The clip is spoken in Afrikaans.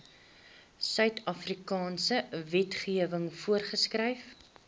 suidafrikaanse wetgewing voorgeskryf